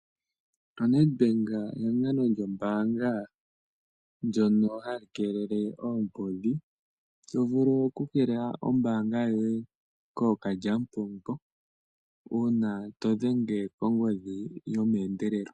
ONedbank ehangano lyombaanga ndyono hali vulu okukeelela oombudhi. Oto vulu okukeelela oombaanga yoye kookalyamupombo uuna to dhenge konomola yombaanga yomeendelelo.